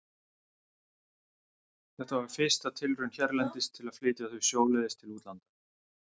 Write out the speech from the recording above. Þetta var fyrsta tilraun hérlendis til að flytja þau sjóleiðis til útlanda.